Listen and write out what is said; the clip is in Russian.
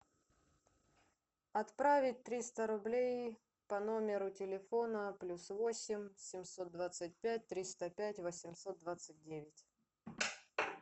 отправить триста рублей по номеру телефона плюс восемь семьсот двадцать пять триста пять восемьсот двадцать девять